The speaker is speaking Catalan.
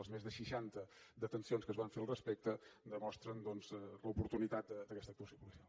les més de seixanta detencions que es van fer al respecte demostren doncs l’oportunitat d’aquesta actuació policial